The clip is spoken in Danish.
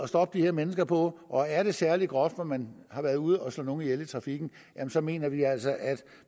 stoppe de her mennesker på og er det særlig groft hvor man har været ude at slå nogle ihjel i trafikken så mener vi altså at